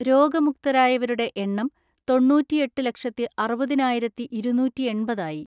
രോഗമുക്തരായവരുടെ എണ്ണം തൊണ്ണൂറ്റിഎട്ട് ലക്ഷത്തി അറുപതിനായിരത്തിഇരുന്നൂറ്റിഎൺപത്‌ ആയി.